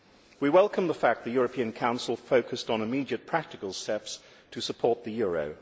We welcome the fact that the European Council focused on immediate practical steps to support the euro.